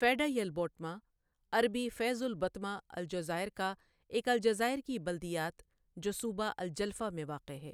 فیڈہ یل بوٹما عربی فيض البطمة الجزائر کا ایک الجزائر کی بلدیات جو صوبہ الجلفہ میں واقع ہے